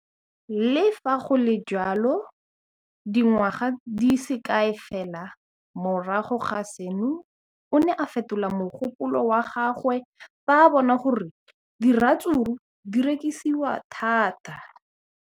Le fa go le jalo, dingwaga di se kae fela morago ga seno, o ne a fetola mogopolo wa gagwe fa a bona gore diratsuru di rekisiwa thata.